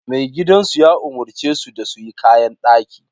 Maigidansu ya umarce su da su yi kayan daki